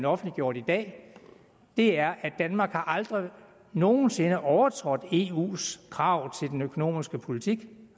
offentliggjort i dag er at danmark aldrig nogen sinde har overtrådt eus krav til den økonomiske politik